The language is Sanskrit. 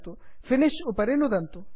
फिनिश फिनिष् उपरि नुदन्तु